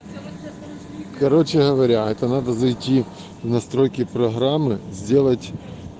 короче говоря это надо зайти в настройки программы сделать